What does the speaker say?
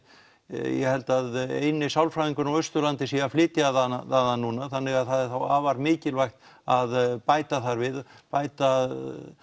ég held að eini sálfræðingurinn á Austurlandi sé að flytja þaðan núna þannig að það er þá afar mikilvægt að bæta þar við bæta